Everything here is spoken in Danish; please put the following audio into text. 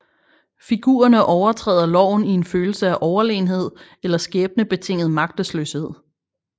Figurerne overtræder loven i en følelse af overlegenhed eller skæbnebetinget magtesløshed